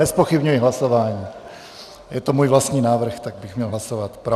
Nezpochybňuji hlasování, je to můj vlastní návrh, tak bych měl hlasovat pro.